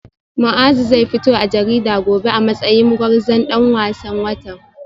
Muazu zai fito a jarida gobe a matsayin gwarzon dan wasan watan